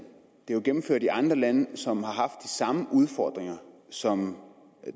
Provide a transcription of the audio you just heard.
det er gennemført i andre lande som har haft samme udfordringer som